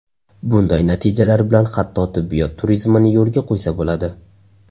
Bunday natijalar bilan hatto tibbiyot turizmini yo‘lga qo‘ysa bo‘ladi.